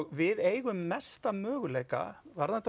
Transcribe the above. við eigum mesta möguleika varðandi